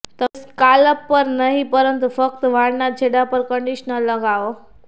તમે સ્કાલ્પ પર નહીં પરંતુ ફક્ત વાળના છેડા પર કન્ડિશનર લગાવો